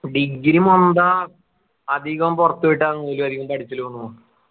degree ന്താ അധികം പുറത്തു വിട്ട ഒന്നൂല അധികം പഠിച്ചലും ഒന്നും